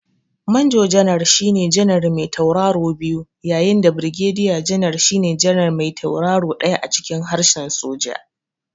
Manjo janar shine janar me tauraro biyu yayin da Birgediya janar shine janar me tauraro ɗaya a cikin harshen soja.